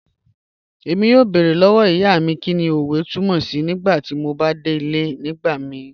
Ẹ̀mí yọ̀ọ́ bẹ̀ẹ̀rẹ̀ lọ́wọ́ ìyá mi kíni ọ̀wẹ̀ tùmọ̀ sí̀ nígbàtí mò bá dẹ̀ ilẹ̀ nígbàmìí